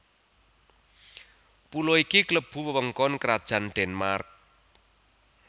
Pulo iki klebu wewengkon Krajan Denmark